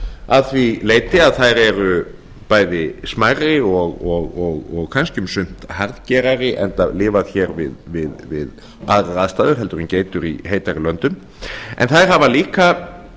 að því leyti að þær eru bæði smærri og kannski um sumt harðgerðari enda lifað við aðrar aðstæður heldur en geitur í heitari löndum en þær hafa líka